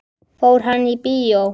Fór hann í bíó?